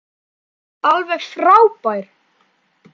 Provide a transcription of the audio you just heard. Alveg frábær.